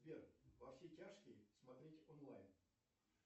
сбер во все тяжкие смотреть онлайн